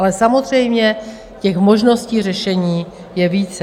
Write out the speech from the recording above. Ale samozřejmě těch možností řešení je více.